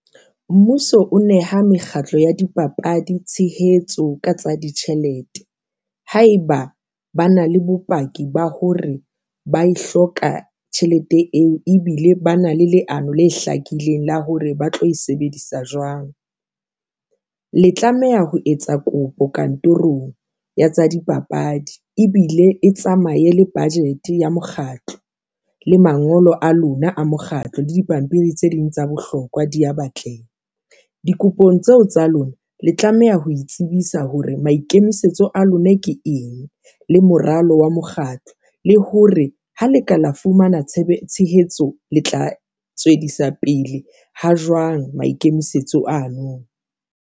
Mmuso o neha mekgatlo ya dipapadi tshehetso ka tsa ditjhelete haeba ba na le bopaki ba hore ba e hloka tjhelete eo ebile ba na le leano le hlakileng la hore ba tlo e sebedisa jwang. Le tlameha ho etsa kopo kantorong ya tsa dipapadi ebile e tsamaye le budget ya mokgatlo le mangolo a lona a mokgatlo le dipampiri tse ding tsa bohlokwa di ya batleng dikopong tseo tsa lona, le tlameha ho itsebisa hore maikemisetso a lona ke eng le moralo wa mokgatlo, le hore ha le ka lo fumana tshehetso le tla tswedisa pele ha jwang maikemisetso ano.